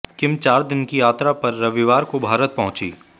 किम चार दिन की यात्रा पर रविवार को भारत पहुंचीं